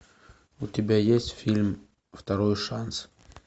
у тебя есть фильм второй шанс